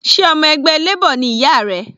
Sé ọmọ ẹgbẹ́ Labor ni ìyá rẹ?